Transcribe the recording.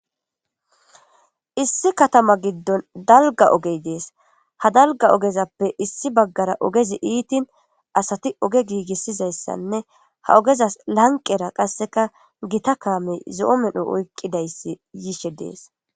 Issi katama gidon dalga ogey des ha dalga ogezappe issi bagara ogezi ittin asati oge gigisizaysane ha ogezas lanqera qaseka Gita kamey zo'o medho oyqidaysi yishe des.